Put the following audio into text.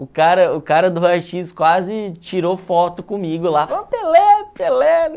O cara o cara do raio xis quase tirou foto comigo lá, o Pelé, o Pelé.